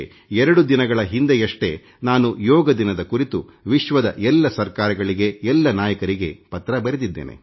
ಎರಡು ದಿನಗಳ ಹಿಂದಷ್ಟೇ ನಾನು ಯೋಗ ದಿನದ ಕುರಿತು ವಿಶ್ವದ ಎಲ್ಲ ಸರ್ಕಾರಗಳಿಗೆ ಎಲ್ಲ ನಾಯಕರಿಗೆ ಪತ್ರ ಬರೆದಿದ್ದೇನೆ